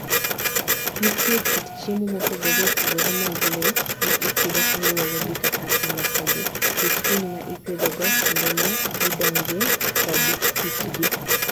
Nitie kit chiemo mopogore opogore mag le ma ipidho kaluwore gi kaka ilosogi, kit winy ma ipidhogo, kinde ma gidong'ie, kod hikgi.